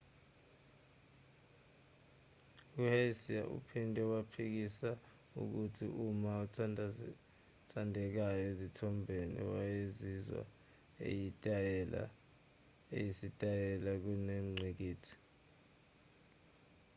u-hsieh uphinde waphikisa ukuthi uma othandekayo ezithombeni wayesizwa yisitayela kunengqikithi